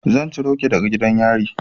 Zan ciro ki daga gidan yari.